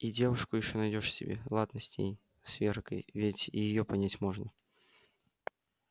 и девушку ещё найдёшь себе ладно с ней с веркой ведь и её понять можно